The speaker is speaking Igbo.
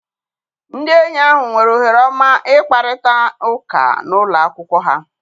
Ndị enyi ahụ nwere ohere ọma ịkparịta ụka n'ụlọ akwụkwọ ha.